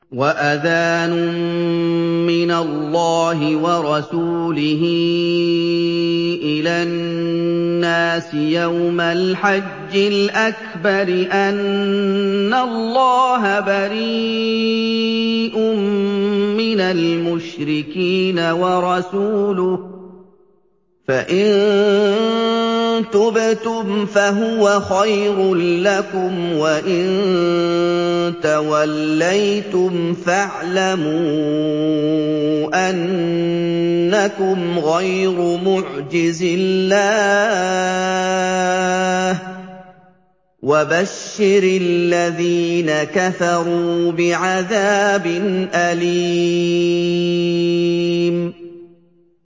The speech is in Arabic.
وَأَذَانٌ مِّنَ اللَّهِ وَرَسُولِهِ إِلَى النَّاسِ يَوْمَ الْحَجِّ الْأَكْبَرِ أَنَّ اللَّهَ بَرِيءٌ مِّنَ الْمُشْرِكِينَ ۙ وَرَسُولُهُ ۚ فَإِن تُبْتُمْ فَهُوَ خَيْرٌ لَّكُمْ ۖ وَإِن تَوَلَّيْتُمْ فَاعْلَمُوا أَنَّكُمْ غَيْرُ مُعْجِزِي اللَّهِ ۗ وَبَشِّرِ الَّذِينَ كَفَرُوا بِعَذَابٍ أَلِيمٍ